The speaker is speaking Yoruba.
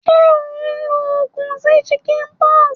Sé o n lo ogùn sí chickenpox?